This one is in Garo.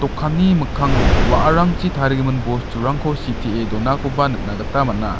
kanni mikkango wa·arangchi tarigimin bosturangko sitee donakoba nikna gita man·a.